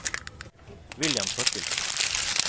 William Thorkildsen